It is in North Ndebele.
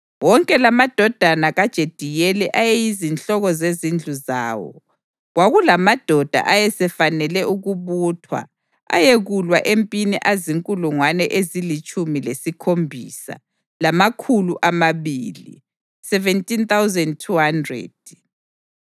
Wonke lamadodana kaJediyeli ayeyizinhloko zezindlu zawo. Kwakulamadoda ayesefanele ukubuthwa ayekulwa empini azinkulungwane ezilitshumi lesikhombisa, lamakhulu amabili (17,200).